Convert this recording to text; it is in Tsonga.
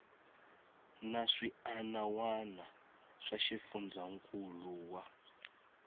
na swiana wana swa xifundzankuluwa